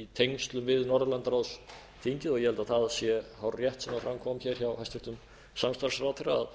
í tengslum við norðurlandaráðsþingið og ég held að það sé hárrétt sem fram kom hér hjá hæstvirtur samstarfsráðherra að